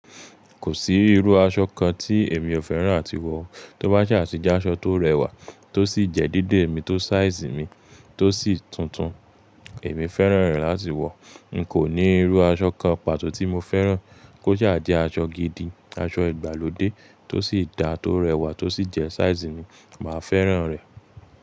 Kò sí irú aṣọ kan tí èmi ò fẹ́ràn áti wọ̀. Tó bá sa ti jẹ́ aṣọ tó rẹwà tó sì jẹ́ dedé mi tó size mi tó sì tútùn, èmi fẹ́ràn rẹ̀ láti wọ̀. N kò ní irú aṣọ kan pàtó tí mo fẹ́ràn kó sa jẹ́ aṣọ gidi, aṣọ ìgbàlódé tó sì dá tó rẹwà tó sì jẹ́ size mi, màá fẹ́ràn rẹ̀